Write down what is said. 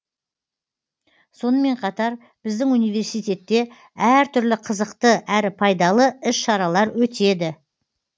сонымен қатар біздің университетте әртүрлі қызықты әрі пайдалы іс шаралар өтеді